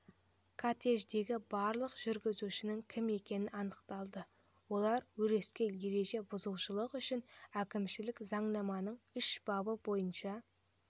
кортеждегі барлық жүргізушінің кім екені анықталды олар өрескел ереже бұзушылық үшін әкімшілік заңнаманың үш бабы бойынша